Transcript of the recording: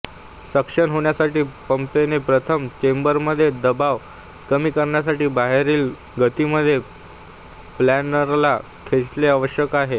suction होण्यासाठी पंपने प्रथम चेंबरमध्ये दबाव कमी करण्यासाठी बाहेरील गतीमध्ये प्लनरला खेचणे आवश्यक आहे